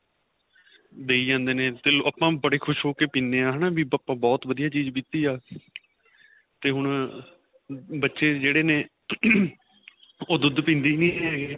ਦੱਈ ਜਾਂਦੇ ਨੇ till ਉਹ ਆਪਾਂ ਬੜੇ ਪੀਨੇ ਏ ਵੀ ਆਪਾਂ ਬਹੁਤ ਵਧੀਆ ਚੀਜ ਪੀਤੀ ਆਂ ਤੇ ਹੁਣ ਬੱਚੇ ਜਿਹੜੇ ਨੇ ਉਹ ਦੁੱਧ ਪੀਂਦੇ ਹੀ ਨਹੀਂ ਹੈਗੇ